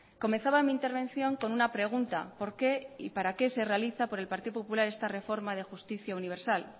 comenzaba mi intervención con una pregunta por qué y para qué se realiza por el partido popular esta reforma de justicia universal